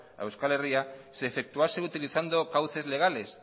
a euskal herria se efectuase utilizando cauces legales